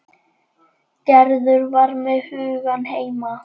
Gerður var með hugann heima.